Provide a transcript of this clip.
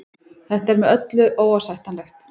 Þetta er með öllu óásættanlegt